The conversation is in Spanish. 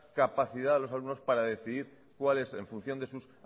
capacidad a los alumnos para decidir cuál es en función de sus